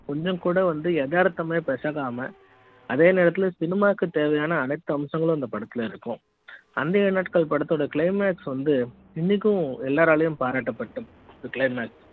கொஞ்சம் கூட வந்து எதார்த்த மே பேசாம அதே நேரத்துல சினிமா க்கு தேவையான அனைத்து அம்சங்களும் இந்த படத்தில் இருக்கும் அந்த ஏழு நாட்கள் பட த்தோட claimax வந்து இன்னைக்கும் எல்லா ராலும் பாராட்டப்படுது